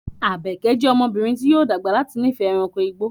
Àbèké jẹ́ ọmọbìnrin tí yóò dàgbà láti nífẹ̀ẹ́ ẹranko igbó